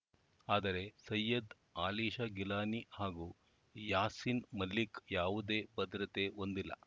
ಆದರೆ ಸಯ್ಯದ್‌ ಅಲಿಶಾ ಗಿಲಾನಿ ಹಾಗೂ ಯಾಸೀನ್‌ ಮಲಿಕ್‌ ಯಾವುದೇ ಭದ್ರತೆ ಹೊಂದಿಲ್ಲ